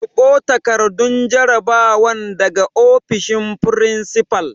Karɓo takardun jarabawan daga ofishin furinsifal!